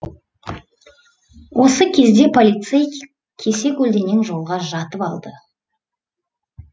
осы кезде полицей кесе көлденең жолға жатып алады